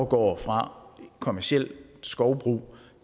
går fra kommerciel skovbrug